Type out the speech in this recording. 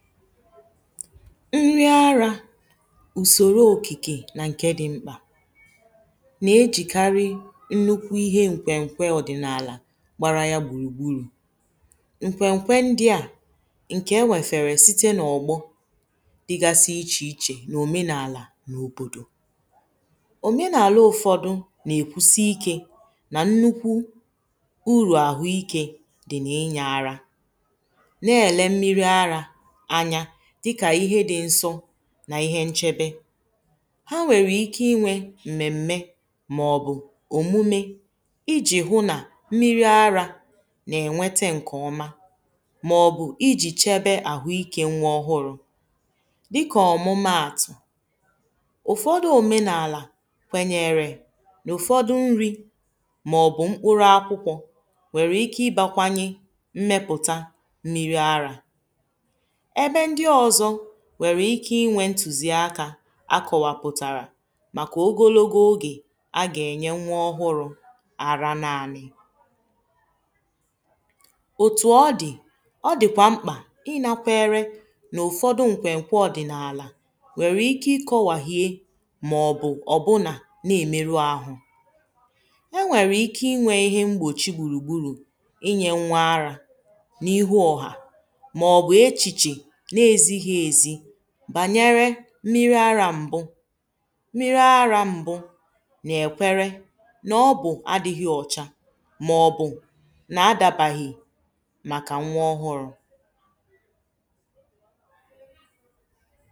nri arȧ ùsòro òkìkè nà ǹke dị̇ mkpà nà-ejìkarị nnukwu ihe ǹkwè ǹkwe ọ̀dị̀nàlà gbara ya gbùrùgburù ǹkwè ǹkwe ndị̇ȧ ǹkè enwèfèrè site n’ọ̀gbọ dịgasị ichè ichè n’òmenàlà n’òbòdò òmenàlà ụ̀fọdụ nà-èkwusi ikė nà nnukwu urù àhụ ikė dị̀ n’inyė arȧ nà ihe nchebe ha nwèrè ike inwė m̀mèm̀me màọbụ̀ òmume ijì hụ nà mmiri ara nà-ènwete ǹkè ọma màọbụ̀ ijì chebe àhụ ikė nwa ọhụrụ dịkà ọ̀mụmaàtụ̀ ụ̀fọdụ òmenàlà kwènyèrè nà ụ̀fọdụ nri màọbụ̀ mkpụrụ akwụkwọ nwèrè ike ịbȧkwanye mmepụ̀ta mmiri ara nye ndi ọzọ̀ nwere ike inwė ntuziakȧ akọwapụ̀tàrà màkà ogologo ogè a gà-ènye nwa ọhụrụ̇ ara n’ànị òtù ọ dị̀ ọ dị̀kwà mkpà ịnakwere n’ụ̀fọdụ nkwè nkwa ọ̀dị̀nàlà nwèrè ike ikọ̇wà hie mà ọ̀ bụ̀ ọ̀bụnà na-emeru ahụ̇ e nwèrè ike inwė ihe mgbòchi gburugburu̇ inye nwa ara n’ihu ọ̀hà mírí àrȧ m̀bụ, mmírí àrȧ m̀bụ nà-èkwere nà ọbụ̇ adị̇ghị ọ̇cha màọ̀bụ̀ nà-adabaghị màkà nwa ọhụrụ̇